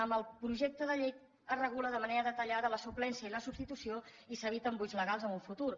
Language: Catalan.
en el projecte de llei es regula de manera detallada la suplència i la substitució i s’eviten buits legals en un futur